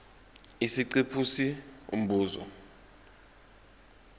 isiqephu c umbuzo